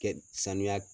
Kɛ sanuya